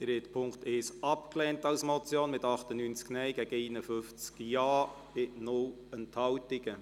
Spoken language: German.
Sie haben den Punkt 2 abgeschrieben mit 84 Ja- gegen 66 Nein-Stimmen bei 0 Enthaltungen.